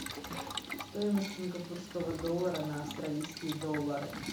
стоимость сингапурского доллара на австралийские доллары